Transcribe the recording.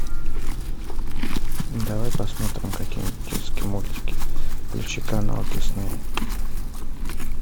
давай посмотрим какие нибудь детские мультики включи канал дисней